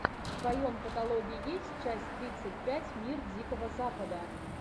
в твоем каталоге есть часть тридцать пять мир дикого запада